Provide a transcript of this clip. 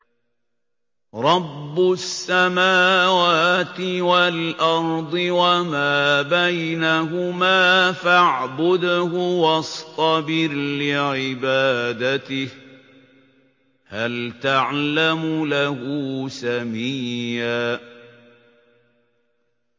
رَّبُّ السَّمَاوَاتِ وَالْأَرْضِ وَمَا بَيْنَهُمَا فَاعْبُدْهُ وَاصْطَبِرْ لِعِبَادَتِهِ ۚ هَلْ تَعْلَمُ لَهُ سَمِيًّا